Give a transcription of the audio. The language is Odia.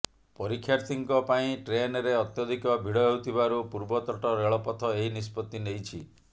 ପରୀକ୍ଷାର୍ଥୀଙ୍କ ପାଇଁ ଟ୍ରେନରେ ଅତ୍ୟଧିକ ଭିଡ଼ ହେଉଥିବାରୁ ପୂର୍ବତଟ ରେଳପଥ ଏହି ନିଷ୍ପତ୍ତି ନେଇଛି